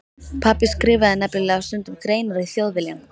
Pabbi skrifaði nefnilega stundum greinar í Þjóðviljann.